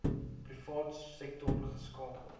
private sektor geskakel